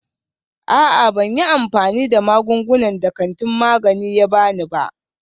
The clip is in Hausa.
A'a, ban yi amfani da magungunan da kantin magani ya ba ni ba.